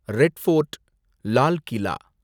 red fort ,Lal Qila